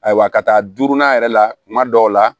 Ayiwa ka taa duurunan yɛrɛ la kuma dɔw la